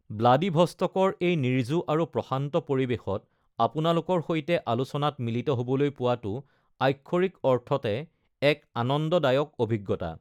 ব্লাডিভষ্টকৰ এই নিৰ্জু আৰু প্ৰশান্ত পৰিবেশত আপোনালোকৰ সৈতে আলোচনাত মিলিত হ'বলৈ পোৱাটো আক্ষৰিক অৰ্থতে এক আনন্দদায়ক অভিজ্ঞতা।